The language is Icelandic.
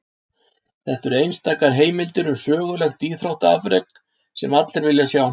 Þetta eru einstakar heimildir um sögulegt íþróttaafrek, sem allir vilja sjá.